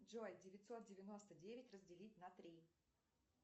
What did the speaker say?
джой девятьсот девяносто девять разделить на три